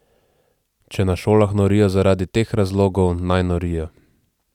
Če na šolah norijo zaradi teh razlogov, naj norijo.